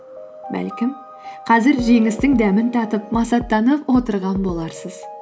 бәлкім қазір жеңістің дәмін татып масаттанып отырған боларсыз